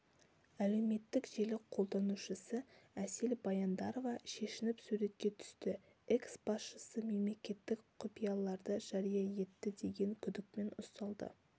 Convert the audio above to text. әлеуметтік желі қолданушысы әсел баяндарова шешініп суретке түсті экс-басшысы мемлекеттік құпияларды жария етті деген күдікпен ұсталды